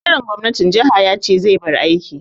Sakataren gwamnatin jaha ya ce zai bar aiki.